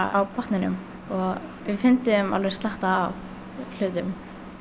á botninum og við fundum alveg slatta af hlutum